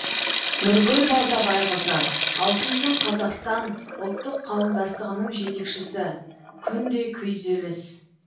нұргүл балтабайқызы аутизм қазақстан ұлттық қауымдастығының жетекшісі күнде күйзеліс